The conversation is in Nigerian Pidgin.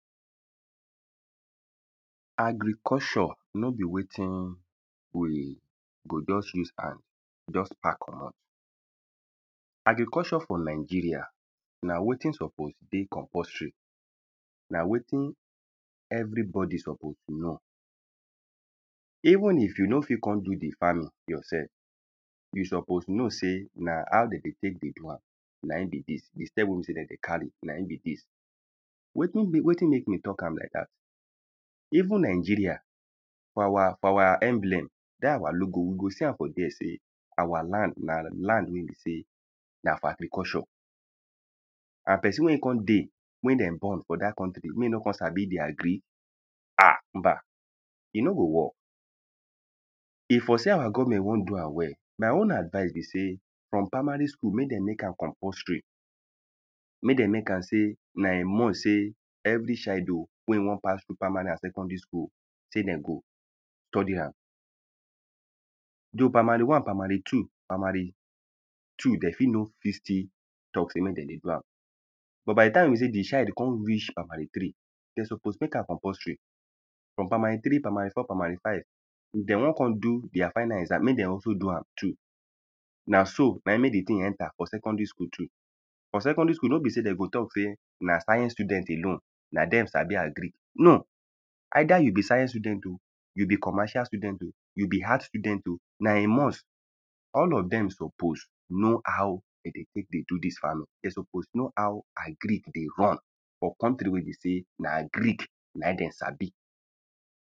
agriculture no be wetin we go just use hand just pack commot agriculture for nigeria na wetin suppose dey compulsory na wetin everybodi suppose know even if u no fit kon do di farming yourself you suppose know sey na how den dey tek dey do am na in be dis di step we de dey carry wetin wetin mek me talk am like dat even nigeria for our for our emblem dat our logo we go see am for there sey our land na land we be sey na for agriculture and pesin we e kon dey wen de born for dat country mek e no kon sabi di agri ah [mmba] e no go work e for sey our government won do am well my own advice be sey from primary school mey dem mek am compulsory mey den mek am sey na a must sey every child oh we e won pass through primary and secondary school sey den go study am though primary one primary two primary primary two de fit no fit still talk sey mek den dey do am but by di time be sey di child kon reach primary three den suppose mek am compulsory from primary three primary four primary five if den won kon do their final exam mek dey also do am too na so na in mek di tin enter for secondary school too for secondary school no be se den go talk sey na science student alone na dem sabi agric no either you be science student o you be commercial student o you be art student o na a must all of dem suppose know how den dey tek dey do dis farming de suppose know how agric dey run for country we be sey na agric na in dem sabi